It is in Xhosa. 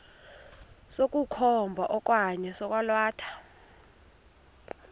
sokukhomba okanye sokwalatha